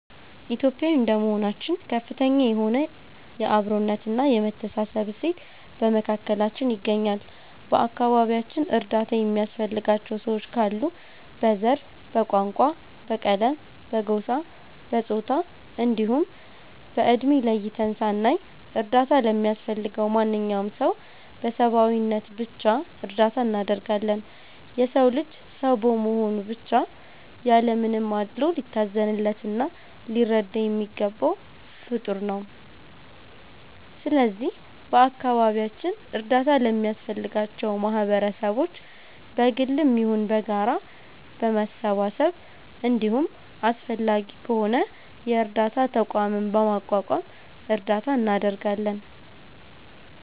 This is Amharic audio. ኢትዮጲያዊ እንደመሆናችን ከፍተኛ የሆነ የ አብሮነት እና የመተሳሰብ እሴት በመካከላችን ይገኛል። በ አከባቢያችን እርዳታ የሚያስፈልጋቸው ሰዎች ካሉ በ ዘር፣ በቋንቋ፣ በቀለም፣ በጎሳ፣ በፆታ እንዲሁም በ እድሜ ለይተን ሳናይ እርዳታ ለሚያስፈልገው ማንኛውም ሰው በ ሰብዓዊነት ብቻ እርዳታ እናደርጋለን። የ ሰው ልጅ ሰው በመሆኑ ብቻ ያለ ምንም አድሎ ሊታዘንለት እና ሊረዳ የሚገባው ፍጠር ነው። ስለዚህ በ አካባቢያችን እርዳታ ለሚያስፈልጋቸው ማህበረሰቦች በ ግልም ይሁን በጋራ በመሰባሰብ እንዲሁም አስፈላጊ ከሆነ የ እርዳታ ተቋምም በማቋቋም እርዳታ እናደርጋለን።